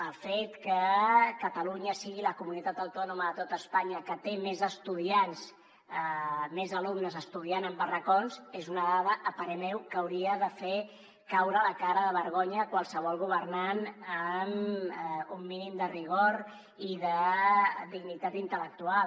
el fet que catalunya sigui la comunitat autònoma de tot espanya que té més alumnes estudiant en barracons és una dada a parer meu que hauria de fer caure la cara de vergonya a qualsevol governant amb un mínim de rigor i de dignitat intel·lectual